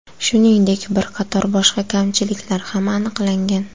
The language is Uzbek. Shuningdek, bir qator boshqa kamchiliklar ham aniqlangan.